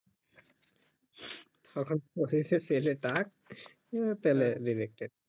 তখন বলবে যে ছেলে টাক তালে rejected